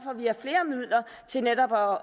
at vi har flere midler til netop at